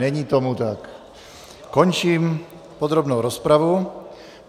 Není tomu tak, končím podrobnou rozpravu.